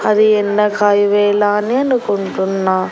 అది ఎండ కాయు వేళా అని అనుకుంటున్నా.